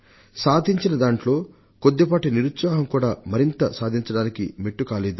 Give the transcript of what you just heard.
సాధించిన దాంట్లో కొద్దిపాటి నిరుత్సాహం కూడా మరింత సాధించడానికి మెట్టు కాలేదు